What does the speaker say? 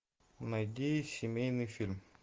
найди семейный фильм